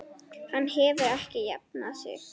Hann hefur ekki jafnað sig.